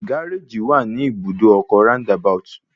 Gáréjì wà ní Ibùdó ọkọ̀ Round about